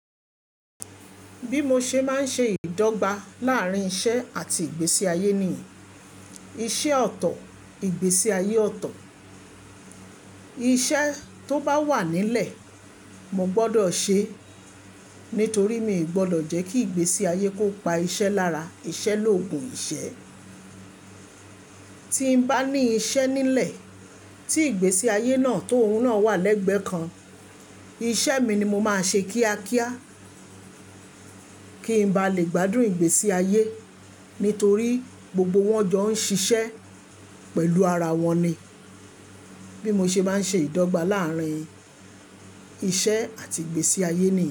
Bí mo ṣe máa ń ṣe ìdọ́gba láàrín iṣẹ́ àti ìgbésí ayé ni iṣẹ́ ọ̀tọ̀, ìgbésí ayé ọ̀tọ̀. Iṣẹ́ tó bá wà nílẹ̀, mo gbọ́dọ̀ ṣe é nítorí mi ò gbọ́dọ̀ jẹ́ kí ìgbésí ayé kó pa iṣẹ́ lára. Iṣẹ́ lògùn ìṣẹ́. Tí n bá ní iṣẹ́ nílẹ̀ tí ìgbésí ayé náà tó òun náà wà lẹ́gbẹ̀ẹ́ kan, iṣẹ́ mi ni mo máa ṣe kíákíá kí n bá lè gbádùn ìgbésí ayé nítorí gbogbo wọn jọ ń ṣiṣẹ́ pẹ̀lú ara wọn ni. Bí mo ṣe máa ń ṣe ìdọ́gba láàrín iṣẹ́ àti ìgbésí ayé ni èyí.